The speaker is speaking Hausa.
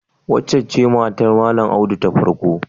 Waccen ce matar Malam Audu ta farko?